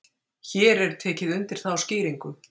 hér er tekið undir þá skýringu